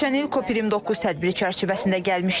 Keçən il COP29 tədbiri çərçivəsində gəlmişdim.